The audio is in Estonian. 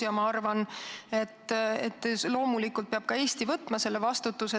Ja ma arvan, et loomulikult peab ka Eesti võtma selle vastutuse.